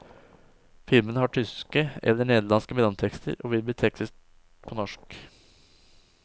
Filmene har tyske eller nederlandske mellomtekster, og vil bli tekstet på norsk.